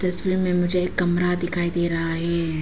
तस्वीर में मुझे एक कमरा दिखाई दे रहा है।